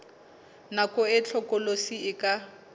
nako e hlokolosi e ka